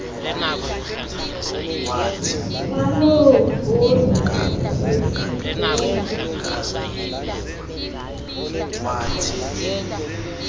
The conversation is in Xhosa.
waloo bhodi yesibheno